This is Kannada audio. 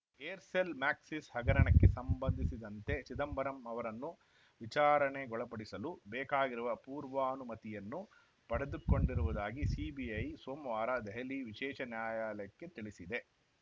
ಏರ್‌ಸೆಲ್‌ ಮ್ಯಾಕ್ಸಿಸ್‌ ಹಗರಣಕ್ಕೆ ಸಂಬಂಧಿಸಿದಂತೆ ಚಿದಂಬರಂ ಅವರನ್ನು ವಿಚಾರಣೆಗೊಳಪಡಿಸಲು ಬೇಕಾಗಿರುವ ಪೂರ್ವಾನುಮತಿಯನ್ನು ಪಡೆದುಕೊಂಡಿರುವುದಾಗಿ ಸಿಬಿಐ ಸೋಮವಾರ ದೆಹಲಿ ವಿಶೇಷ ನ್ಯಾಯಾಲಯಕ್ಕೆ ತಿಳಿಸಿದೆ